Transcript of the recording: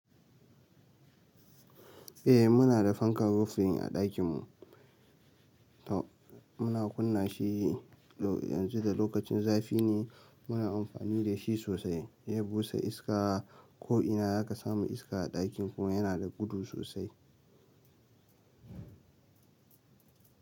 Eh muna da fankan rufi a ɗakin mu. Muna kunna shi yanzu da lokacin zafi ne muna amfani da shi sosai. Zai busa iska ko'ina da ka samu iska a ɗakin kuma yana da gudu sosai.